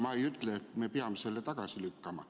Ma ei ütle, et me peame selle tagasi lükkama.